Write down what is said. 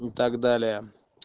и так далее